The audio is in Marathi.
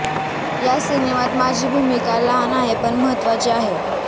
या सिनेमात माझी भूमिका लहान आहे पण महत्त्वाची आहे